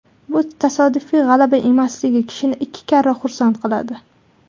Bu tasodifiy g‘alaba emasligi kishini ikki karra xursand qiladi.